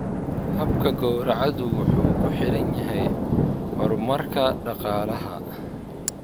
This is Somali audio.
Habka gawracadu wuxuu ku xiran yahay horumarka dhaqaalaha.